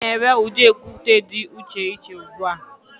Amadi na-ere udi okute di iche iche ugbua.